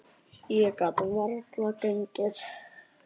Ég get varla gengið.